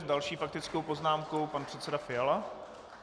S další faktickou poznámkou pan předseda Fiala.